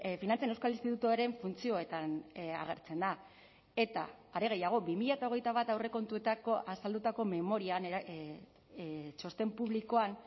finantzen euskal institutuaren funtzioetan agertzen da eta are gehiago bi mila hogeita bat aurrekontuetako azaldutako memorian txosten publikoan